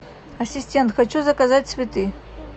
ассистент хочу заказать цветы